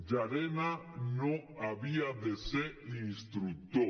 llarena no havia de ser instructor